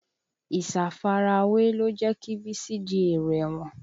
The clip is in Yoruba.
Ìsafarawé ló jẹ́ kí Bísí di èrò ẹ̀wọ̀n